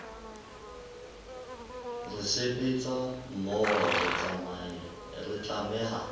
re sebetsa mmoho re tlameha